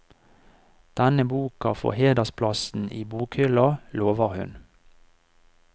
Denne boka får hedersplassen i bokhylla, lover hun.